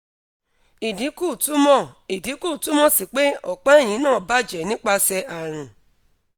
idinku tumọ idinku tumọ si pe opa ehin na baje nipase arun